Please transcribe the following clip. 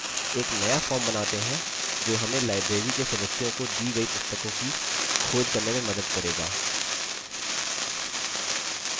एक नया form बनाते हैं जो हमें library के सदस्यों को दी गयी पुस्तकों की खोज करने में मदद करेगा